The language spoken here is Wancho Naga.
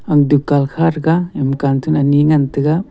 aga dukan kha threga ema cantoon ani ngan tega.